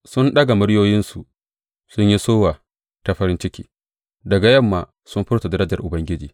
Sun daga muryoyinsu, sun yi sowa ta farin ciki; daga yamma sun furta darajar Ubangiji.